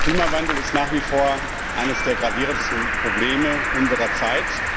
Der Klimawandel ist nach wie vor eines der gravierendsten Probleme unserer Zeit.